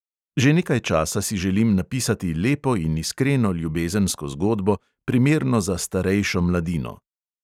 Že nekaj časa si želim napisati lepo in iskreno ljubezensko zgodbo, primerno za starejšo mladino.